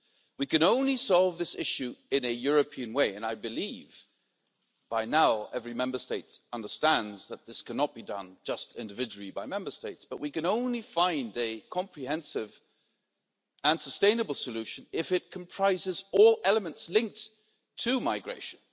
We can only solve this issue in a European way and I believe by now every Member State understands that this cannot be done just individually by Member States but we can only find a comprehensive and sustainable solution if it comprises all elements linked to migration.